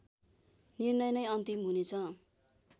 निर्णय नै अन्तिम हुनेछ